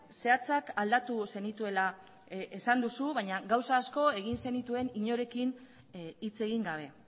zehatzak aldatu zenituela esan duzu baina gauza asko egin zenituen inorekin hitz egin gabe